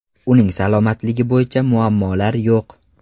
Uning salomatligi bo‘yicha muammolar yo‘q.